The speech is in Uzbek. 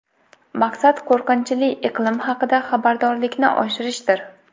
Maqsad qo‘rqinchli iqlim haqida xabardorlikni oshirishdir.